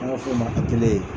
An b'a fɔ o man ko